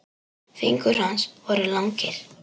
Fingur hans voru langir.